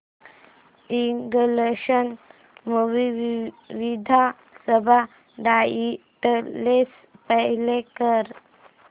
English movie with subtitles play कर